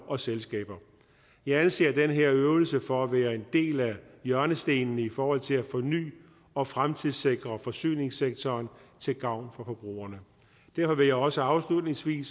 og selskaber jeg anser den her øvelse for at være en del af hjørnestenen i forhold til at forny og fremtidssikre forsyningssektoren til gavn for forbrugerne derfor vil jeg også afslutningsvis